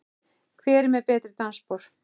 Hver er með betri dansspor?